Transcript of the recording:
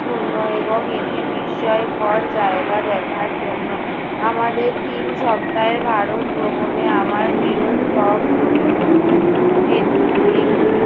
পূর্ণ এবং এটি বিস্ময়কর জায়গা দেখার জন্য। আমাদের তিন সপ্তাহে ভারত ভ্রমণে আমার প্রিয় stop গুলির মধ্যে এ~ এট~ একটি।